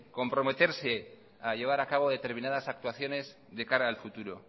comprometerse a llevar a cabo determinadas actuaciones de cara al futuro